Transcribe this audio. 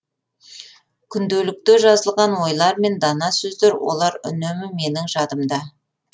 күнделікте жазылған ойлар мен дана сөздер олар үнемі менің жадымда